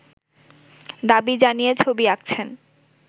দাবি জানিয়ে ছবি আঁকছেন